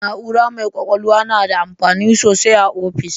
Na'ura mai kwakwalwa na da amfani sosai ah offis